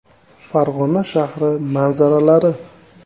Farg‘ona shahri manzaralari.